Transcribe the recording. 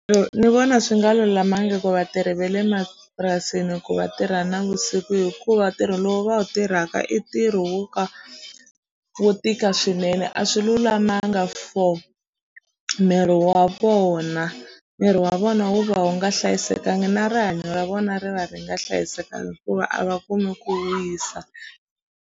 ni vona swi nga lulamanga ku vatirhi ve le mapurasini ku va tirha navusiku hikuva ntirho lowu va wu tirhaka i ntirho wo ka wo tika swinene a swi lulamanga for miri wa vona miri wa vona wu va wu nga hlayisekanga na rihanyo ra vona ri va ri nga hlayisekanga hikuva a va kumi ku wisa.